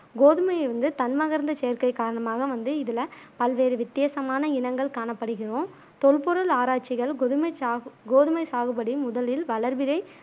கோதுமைய வந்து தன்மகரந்தச் சேர்க்கை காரணமாக வந்து இதுல பல்வேறு வித்தியாசமான இனங்கள் காணப்படுகிறோம் தொல்பொருள் ஆராய்ச்சிகள் கொதுமை சாகு கோதுமை சாகுபடி முதலில் வளர்பிறை